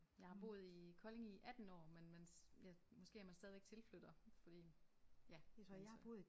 Jeg har boet i Kolding i 18 år men man ja måske er man stadigvæk tilflytter fordi ja altså